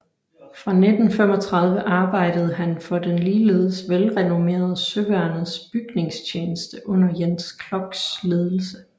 Fra 1935 arbejdede han for den ligeledes velrenommerede Søværnets Bygningstjeneste under Jens Kloks ledelse